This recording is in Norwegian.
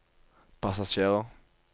passasjerer